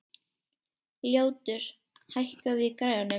Ljótur, hækkaðu í græjunum.